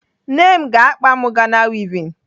Ne m ga-akpa m Ghana wivin taa.